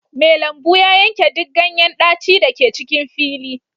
Mai lambu ya yanke duk ganyen daci da ke cikin fili